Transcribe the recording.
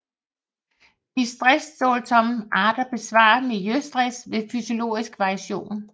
De stresstålsomme arter besvarer miljøstress ved fysiologisk variation